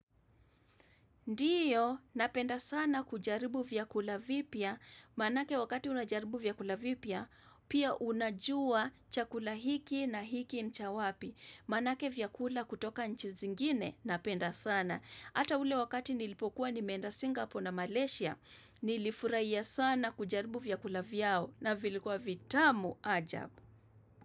Ndiyo, napenda sana kujaribu vyakula vipya. Maanake wakati unajaribu vyakula vipya, pia unajua chakula hiki na hiki ni cha wapi. Maanake vyakula kutoka nchi zingine, napenda sana. Ata ule wakati nilipokuwa nimeenda Singapore na Malaysia, nilifurahia sana kujaribu vyakula vyao na vilikua vitamu ajabu.